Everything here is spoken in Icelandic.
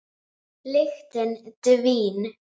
Lyktin dvín.